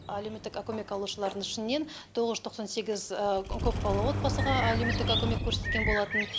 алеуметтіка көмек алушылардың ішінен тоғыз жүз тоқсан сегіз көпбалалы отбасыға алеуметтіка көмек көрсетілген болатын